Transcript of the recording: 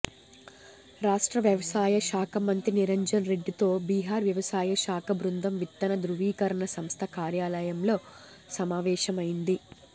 రాష్ట్ర వ్యవసాయ శాఖ మంత్రి నిరంజన్ రెడ్డితో బీహార్ వ్యవసాయ శాఖ బృందం విత్తన ధృవీకరణ సంస్థ కార్యాలయంలో సమావేశమైంది